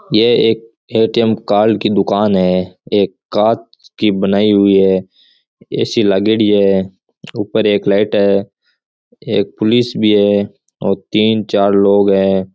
यह एक ATM card की दूकान है ये कांच की बनाई हुई है ए.सी लागेडी है उपर एक लाइट है एक पुलिस भी है और तीन चार लोग है।